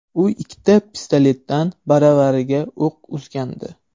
U ikkita pistoletdan baravariga o‘q uzgandi.